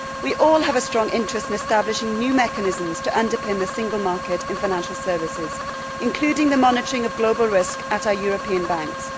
We all have a strong interest in establishing new mechanisms to underpin the single market in financial services, including the monitoring of global risk at our European Banks